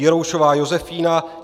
Jiroušová Josefína